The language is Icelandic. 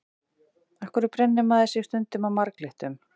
Af hverju brennir maður sig stundum á marglyttum?